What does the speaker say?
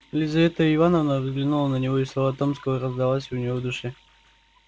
лизавета ивановна взглянула на него и слова томского раздались у нее в душе